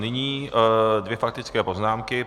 Nyní dvě faktické poznámky.